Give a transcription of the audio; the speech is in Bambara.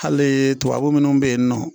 Hali tubabu minnu bɛ yen nɔ